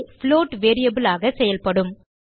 float variable ஆக செயல்படும்